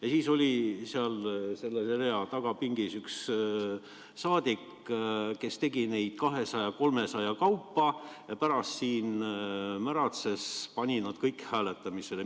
Ja siis oli seal selle rea tagapingis üks saadik, kes tegi neid ettepanekuid 200–300 kaupa, ja pärast siin märatses, pani need kõik hääletamisele.